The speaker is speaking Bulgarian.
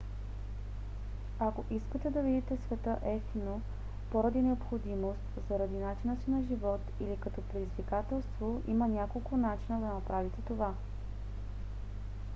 ако искате да видите света евтино поради необходимост заради начина си на живот или като предизвикателство има няколко начина да направите това